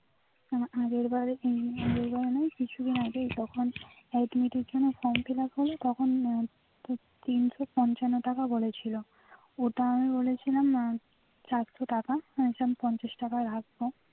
আমার আগের বাড়ে না কিছু দিন আগেই যখন admit এর জন্য form fill up হবে তখন তিনশো পঞ্চান্ন টাকা বলেছিল ওটা আমি বলেছিলাম চারশো টাকা পঞ্চাশ টাকা রাখবো